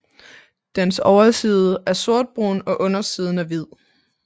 Dens overside er sortbrun og undersiden er hvid